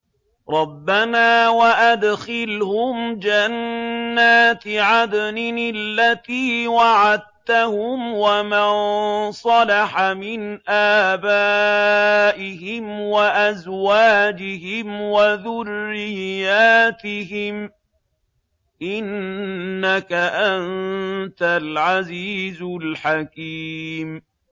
رَبَّنَا وَأَدْخِلْهُمْ جَنَّاتِ عَدْنٍ الَّتِي وَعَدتَّهُمْ وَمَن صَلَحَ مِنْ آبَائِهِمْ وَأَزْوَاجِهِمْ وَذُرِّيَّاتِهِمْ ۚ إِنَّكَ أَنتَ الْعَزِيزُ الْحَكِيمُ